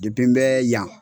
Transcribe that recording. Dipi n bɛ yan.